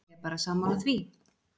Ég er bara sammála því.